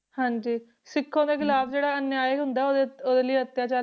ਹਾਂਜੀ ਸਿੱਖਾਂ ਦੇ ਖਿਲਾਫ਼ ਜਿਹੜਾ ਅਨਿਆਏ ਹੁੰਦਾ ਉਹਦੇ ਉਹਦੇ ਲਈ ਅਤਿਆਚਾਰ